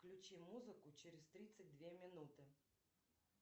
включи музыку через тридцать две минуты